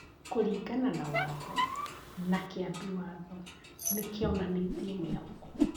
kũringana na Watho na Kĩambi Watho nĩ kĩonanĩtie mwĩhoko.